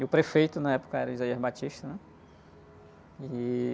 E o prefeito na época era o, né?